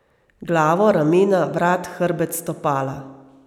Glavo, ramena, vrat, hrbet, stopala.